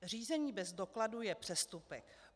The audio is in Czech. Řízení bez dokladu je přestupek.